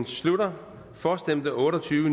slutter for stemte otte og tyve